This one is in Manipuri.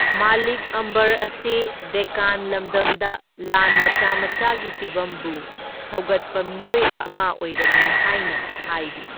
ꯃꯂꯤꯛ ꯑꯝꯕꯔ ꯑꯁꯤ ꯗꯦꯛꯀꯥꯟ ꯂꯝꯗꯝꯗ ꯂꯥꯟ ꯃꯆꯥ ꯃꯆꯥꯒꯤ ꯐꯤꯚꯝꯕꯨ ꯁꯧꯒꯠꯄ ꯃꯤꯑꯣꯏ ꯑꯃ ꯑꯣꯏꯔꯝꯃꯤ ꯍꯥꯏꯅ ꯍꯥꯏꯔꯤ꯫